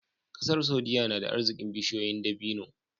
ƙasar saudia nada arzikin bishiyoyin dabini